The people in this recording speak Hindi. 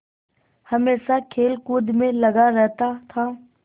हमेशा खेलकूद में लगा रहता था